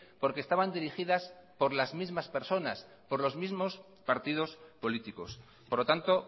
porque estaban dirigidas por las mismas personas por los mismos partidos políticos por lo tanto